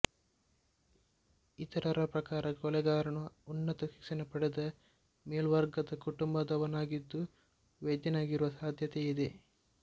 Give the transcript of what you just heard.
ಇತರರ ಪ್ರಕಾರ ಕೊಲೆಗಾರನು ಉನ್ನತ ಶಿಕ್ಷಣ ಪಡೆದ ಮೇಲ್ವರ್ಗದ ಕುಟುಂಬದವನಾಗಿದ್ದು ವೈದ್ಯನಾಗಿರುವ ಸಾಧ್ಯತೆ ಇದೆ